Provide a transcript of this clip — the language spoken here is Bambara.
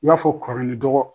I b'a fɔ kɔrɔ ni dɔgɔ.